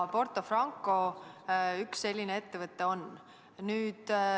Porto Franco üks selline ettevõte on.